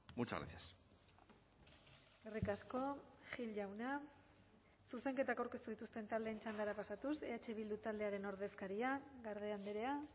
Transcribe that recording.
muchas gracias eskerrik asko gil jauna zuzenketak aurkeztu dituzten taldeen txandara pasatuz eh bildu taldearen ordezkaria garde andrea